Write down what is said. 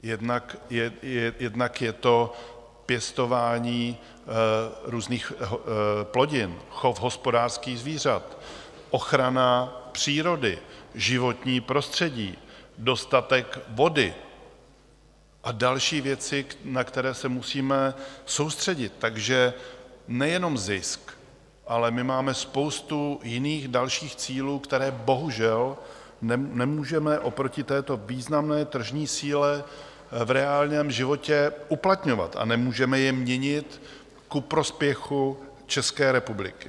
Jednak je to pěstování různých plodin, chov hospodářských zvířat, ochrana přírody, životní prostředí, dostatek vody a další věci, na které se musíme soustředit, takže nejenom zisk, ale my máme spoustu jiných dalších cílů, které bohužel nemůžeme oproti této významné tržní síle v reálném životě uplatňovat a nemůžeme je měnit ku prospěchu České republiky.